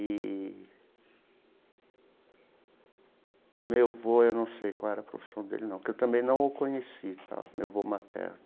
E... Meu avô, eu não sei qual era a profissão dele não, porque eu também não o conheci, meu avô materno.